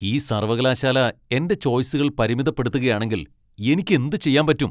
ഈ സർവ്വകലാശാല എന്റെ ചോയ്സുകൾ പരിമിതപ്പെടുത്തുകയാണെങ്കിൽ എനിക്ക് എന്തുചെയ്യാൻ പറ്റും?